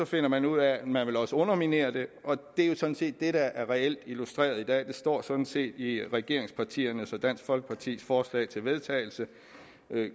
finder man ud af at man også vil underminere det det er jo sådan set det der reelt er illustreret i dag det står sådan set i regeringspartiernes og dansk folkepartis forslag til vedtagelse